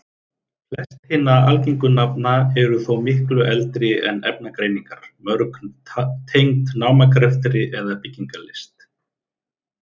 Flest hinna algengu nafna eru þó miklu eldri en efnagreiningar, mörg tengd námagreftri eða byggingarlist.